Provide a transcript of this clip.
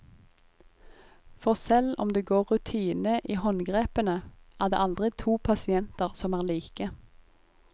For selv om det går rutine i håndgrepene, er det aldri to pasienter som er like.